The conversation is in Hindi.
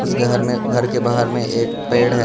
उस घर में घर के बाहर में एक पेड़ है।